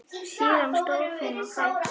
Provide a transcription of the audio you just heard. Síðan stóð hún á fætur.